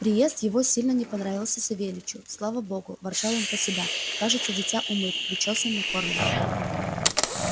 приезд его сильно не понравился савельичу слава богу ворчал он про себя кажется дитя умыт причёсан накормлен